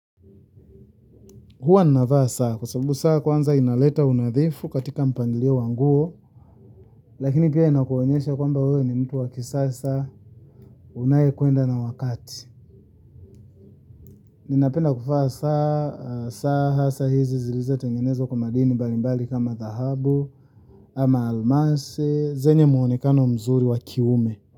Hua ninavaa saa kwa sababu saa kwanza inaleta unadhifu katika mpangilio wa nguo. Lakini pia inakuonyesha kwamba wewe ni mtu wa kisasa unaye kwenda na wakati. Ninapenda kuvaa saa, saa, hasa hizi zilizo tengenezwa kwa madini mbali mbali kama dhahabu ama almasi, zenye muonekano mzuri wa kiume.